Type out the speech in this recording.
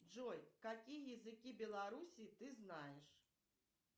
джой какие языки белоруссии ты знаешь